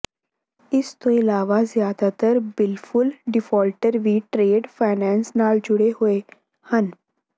ਇਸ ਤੋਂ ਇਲਾਵਾ ਜ਼ਿਆਦਾਤਰ ਵਿਲਫੁੱਲ ਡਿਫਾਲਟਰ ਵੀ ਟਰੇਡ ਫਾਇਨਾਂਸ ਨਾਲ ਜੁੜੇ ਹੋਏ ਹਨ